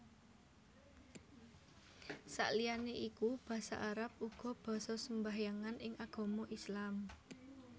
Saliyané iku basa Arab uga basa sembahyangan ing agama Islam